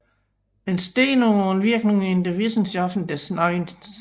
Entstehung und Wirkung in den Wissenschaften des 19